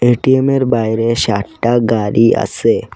এ-টি-এমের বাইরে সাট্টা গাড়ি আসে ।